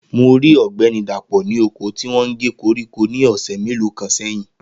Mo rí Ogbeni Dapo ní oko tí wọn gé koríko ní ọ̀sẹ̀ mélòó kan sẹ́yìn